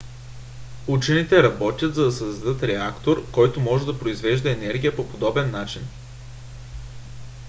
учените работят за да създадат реактор който може да произвежда енергия по подобен начин